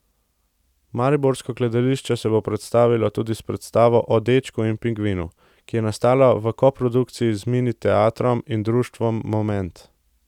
Mariborsko gledališče se bo predstavilo tudi s predstavo O dečku in pingvinu, ki je nastala v koprodukciji z Mini teatrom in društvom Moment.